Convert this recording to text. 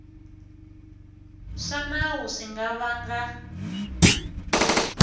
swa nawu swi nga vanga